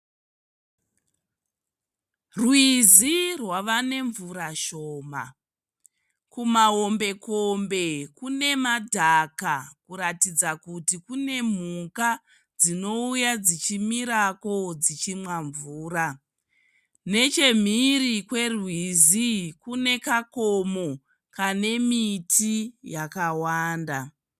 Rwizi rwava nemvura shoma kumahombekombe kune madhaka kuratidza kuti kune mhuka dzinouya dzichimiko dzichinwa mvura nechemhiri kwerwizi kune kakomo kane miti yakawanda.